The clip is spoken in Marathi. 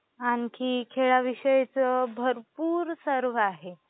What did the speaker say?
आणि खेळाविषयी भरपूर सर्व आहे